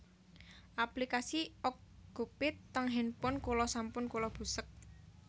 Aplikasi Okcupid teng handphone kula sampun kula busek